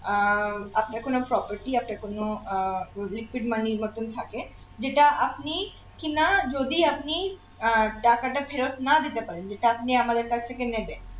আহ আপনার কোন property একটা কোন আহ projected money এর মতন থাকে যেটা আপনি কিনা যদি আপনি আহ টাকাটা ফেরত না দিতে পারেন যেটা আপনি আমাদের কাছ থেকে নেবেন